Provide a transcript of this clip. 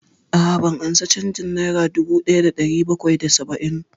A'a, ban ansa canjin nera dubu ɗaya da ɗari bakwai da saba'in